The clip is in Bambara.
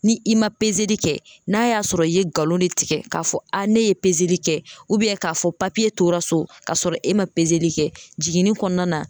Ni i ma peseli kɛ n'a y'a sɔrɔ i ye nkalon de tigɛ k'a fɔ a ne ye peseli kɛ k'a fɔ papiye tora so k'a sɔrɔ e ma peseli kɛ jiginni kɔnɔna na.